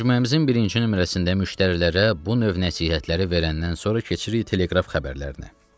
Məcmuəmizin birinci 2 nömrəsində müştərilərə bu növ nəsihətləri verəndən sonra keçirik Teleqraf xəbərlərinə.